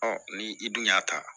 ni i dun y'a ta